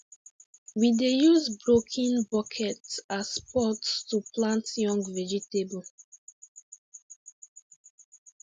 we dey use broken bucket as pot to plant young vegetable